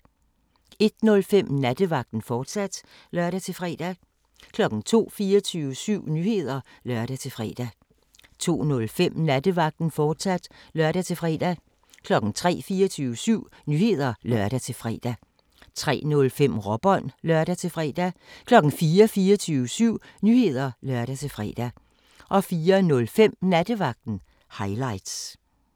01:05: Nattevagten, fortsat (lør-fre) 02:00: 24syv Nyheder (lør-fre) 02:05: Nattevagten, fortsat (lør-fre) 03:00: 24syv Nyheder (lør-fre) 03:05: Råbånd (lør-fre) 04:00: 24syv Nyheder (lør-fre) 04:05: Nattevagten – highlights